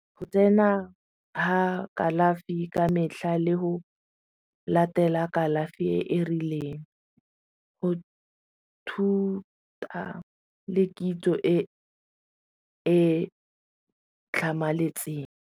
Go tsena ga kalafi ka metlha le go latela kalafi e e rileng go thuta le kitso e e tlhamaletseng.